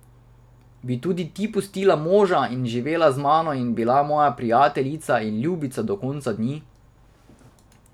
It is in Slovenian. Bi tudi ti pustila moža in živela z mano in bila moja prijateljica in ljubica do konca dni?